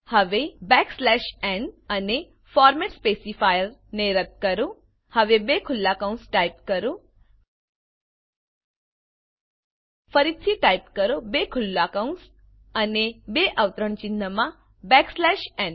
હવે n અને format specifier ને રદ્દ કરો હવે બે ખુલ્લા કૌંસ ટાઈપ કરો ફરીથી ટાઈપ કરો બે ખુલ્લા કૌંસઅને બે અવતરણ ચિન્હમાં બેકસ્લેશ ન